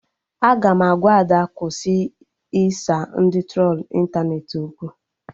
Aga m agwa Ada kwụsị ịsa ndị trolu ịntanetị okwu